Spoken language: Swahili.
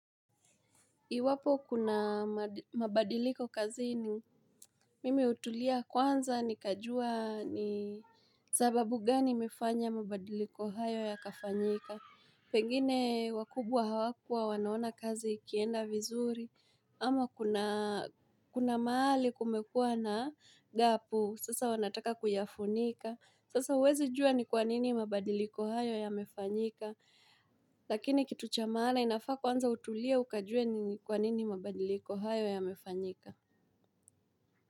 Iwapo kuna mabadiliko kazini mimi hutulia kwanza nikajua ni sababu gani imefanya mabadiliko hayo yakafanyika. Pengine wakubwa hawakua wanaona kazi ikienda vizuri ama kuna mahali kumekua na gapu sasa wanataka kuyafunika. Sasa huwezi jua ni kwa nini mabadiliko hayo yamefanyika. Lakini kitu cha maana inafaa kwanza utulie ukajue ni kwa nini mabadiliko hayo yamefanyika.